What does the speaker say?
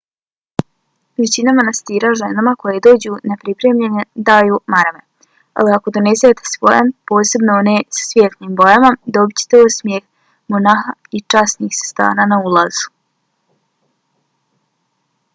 većina manastira ženama koje dođu nepripremljene daju marame ali ako donesete svoje posebno one sa svijetlim bojama dobićete osmijeh monaha ili časnih sestara na ulazu